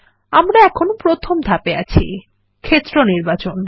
আমরা এখন প্রথম ধাপে আছি - ক্ষেত্র নির্বাচন